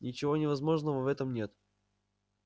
ничего невозможного в этом нет